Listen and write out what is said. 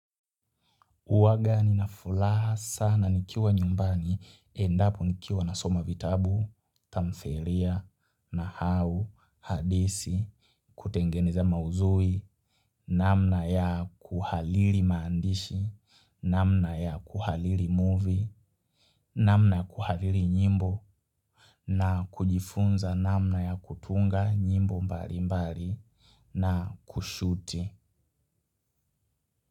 Uwaga ninafulaha sana nikiwa nyumbani endapo nikiwa nasoma vitabu, tamferia, nahau, hadisi, kutengeneza mauzui, namna ya kuhaliri maandishi, namna ya kuhaliri movie, namna kuhaliri nyimbo, nakujifunza namna ya kutunga nyimbo mbalimbali na kushuti.